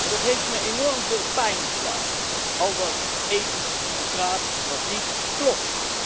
Dat heeft me enorm veel pijn gedaan, al dat ethisch gepraat dat niet klopt.